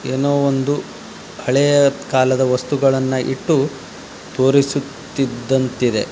ಏನೋ ಒಂದು ಹಳೆಯ ಕಾಲದ ವಸ್ತುಗಳನ್ನು ಇಟ್ಟು ತೋರಿಸುತ್ತಿದಂತೆ ಇದೆ.